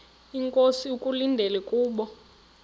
inkosi ekulindele kubo